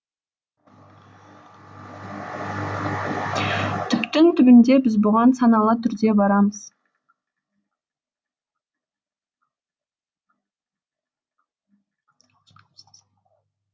түптің түбінде біз бұған саналы түрде барамыз